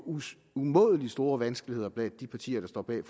umådelig store vanskeligheder blandt de partier der står bag